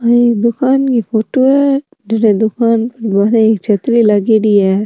आ एक दुकान की फोटो है जड़ दुकान की बाहर एक छतरी लागेडी है।